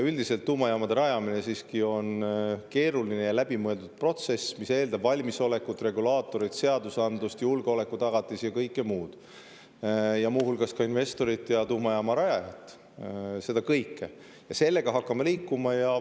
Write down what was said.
Üldiselt tuumajaamade rajamine siiski on keeruline ja läbimõeldud protsess, mis eeldab valmisolekut, regulaatoreid, seadusandlust, julgeolekutagatisi ja kõike muud, muu hulgas ka investorit ja tuumajaama rajajat – seda kõike –, ja sellega me hakkame liikuma.